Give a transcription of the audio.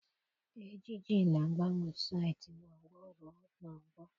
Ejiji na-agbanwe site n'ọgbọ ruo n'ọgbọ.